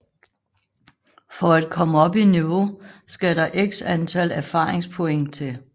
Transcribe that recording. For at komme op i niveau skal der x antal erfaringspoint til